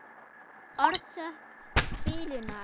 Orsök bilunar?